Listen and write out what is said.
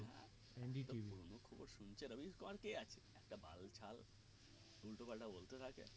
একটা পুরোনো খবর শুনছে রাবিশ কুমারকে আছে একটা বাল ছাল উল্টো পাল্টা বলতে থাকে